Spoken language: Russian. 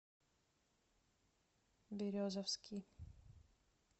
березовский